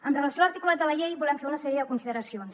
amb relació a l’articulat de la llei volem fer una sèrie de consideracions